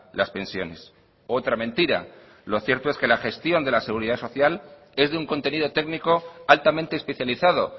las pensiones otra mentira lo cierto es que la gestión de la seguridad social es de un contenido técnico altamente especializado